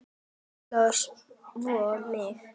Óla og svo mig.